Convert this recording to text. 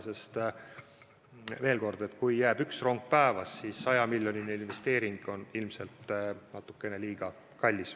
Sest veel kord: kui jääb sõitma üks rong päevas, siis on 100-miljoniline investeering ilmselt natukene liiga kallis.